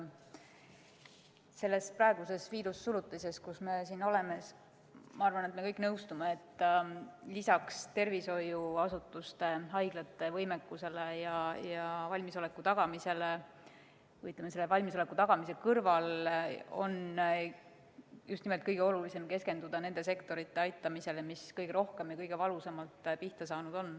Ma arvan, et selles praeguses viirussurutises, kus me oleme, me kõik nõustume, et tervishoiuasutuste, haiglate võimekuse ja valmisoleku tagamise kõrval on kõige olulisem keskenduda just nimelt nende sektorite aitamisele, mis kõige rohkem ja kõige valusamalt on pihta saanud.